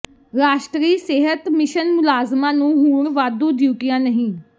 ਰਾਸ਼ਟਰੀ ਸਿਹਤ ਮਿਸ਼ਨ ਮੁਲਾਜ਼ਮਾਂ ਨੂੰ ਹੁਣ ਵਾਧੂ ਡਿਊਟੀਆਂ ਨਹੀਂ